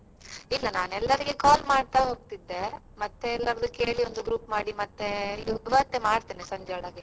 ಆ ಇಲ್ಲ ನಾನ್ ಎಲ್ರಿಗೂ call ಮಾಡ್ತಾ ಹೋಗ್ತಿದ್ದೆ ಮತ್ತೆ ಎಲ್ಲರಿಗು ಕೇಳಿ ಒಂದು ಮತ್ತೆ ಎಲ್ಲ group ಮಾಡಿ ಇವತ್ತೇ ಮಾಡ್ತೇನೆ ಸಂಜೆಯೊಳಗೆ ಹಾಗೆ.